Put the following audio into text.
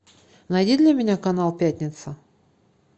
найди для меня канал пятница